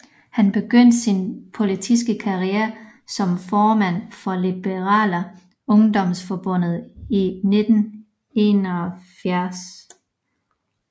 Han begyndte sin politiske karriere som formand for Liberala Ungdomsförbundet i 1971